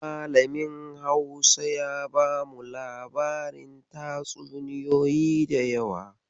Malamin Hausa ya bamu labarin tatsuniyoyi da yawa.